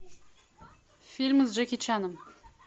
фильмы с джеки чаном